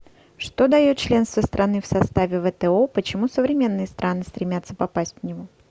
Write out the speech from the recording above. что дает членство страны в составе вто почему современные страны стремятся попасть в него